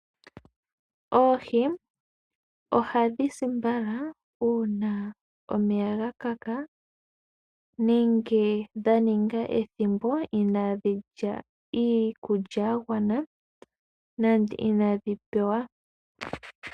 Oohi ohadhi si mbala uuna omeya ga kaka nenge dha ninga ethimbo ina dhi lya iikulya ya gwana nande inadhi pewa.